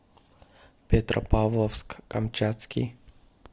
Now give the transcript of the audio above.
петропавловск камчатский